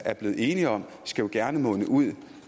er blevet enige om skal jo gerne munde ud